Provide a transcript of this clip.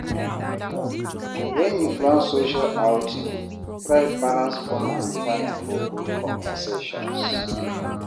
When you plan social outing, try balance fun and time for good conversations.